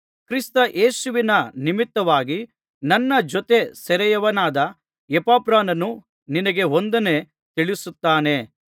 ಕ್ರಿಸ್ತಯೇಸುವಿನ ನಿಮಿತ್ತವಾಗಿ ನನ್ನ ಜೊತೆ ಸೆರೆಯವನಾದ ಎಪಫ್ರನೂ ನಿನಗೆ ವಂದನೆ ತಿಳಿಸುತ್ತಾನೆ